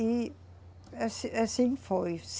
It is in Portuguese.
E assim, assim foi.